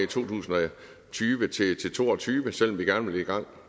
tusind og tyve til to og tyve selv om vi gerne vil i gang